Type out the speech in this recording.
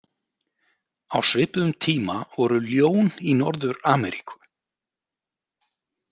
Á svipuðum tíma voru ljón í Norður-Ameríku.